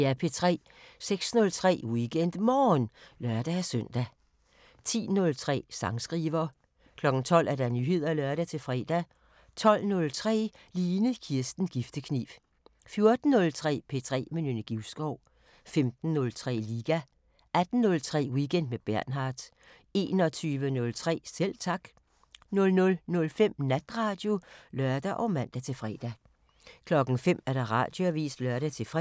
06:03: WeekendMorgen (lør-søn) 10:03: Sangskriver 12:00: Nyheder (lør-fre) 12:03: Line Kirsten Giftekniv 14:03: P3 med Nynne Givskov 15:03: Liga 18:03: Weekend med Bernhard 21:03: Selv tak 00:05: Natradio (lør og man-fre) 05:00: Radioavisen (lør-fre)